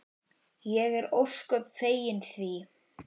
Ég er ósköp fegin því.